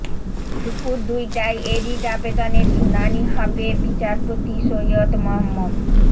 দুপুর দুইটায় এ রিট আবেদনের শুনানি হবে বিচারপতি সৈয়দ মোহাম্মদ